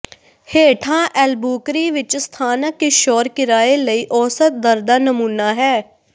ਹੇਠਾਂ ਐਲਬੂਕਰੀ ਵਿੱਚ ਸਥਾਨਕ ਕਿਸ਼ੋਰ ਕਿਰਾਏ ਲਈ ਔਸਤ ਦਰ ਦਾ ਨਮੂਨਾ ਹੈ